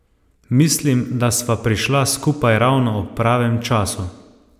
Mislim, da sva prišla skupaj ravno ob pravem času.